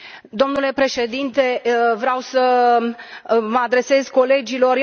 Domnule președinte, vreau să mă adresez colegilor.